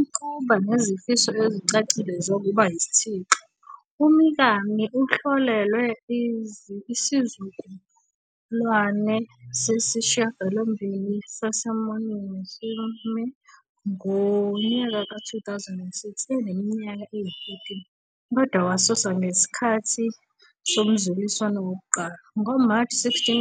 Ukuba nezifiso ezicacile zokuba yisithixo, uMikami uhlolelwe isizukulwane sesishiyagalombili saseMorning Musume ngonyaka we-2006, eneminyaka eyi-13, kodwa wasuswa ngesikhathi somzuliswano wokuqala. NgoMashi 16,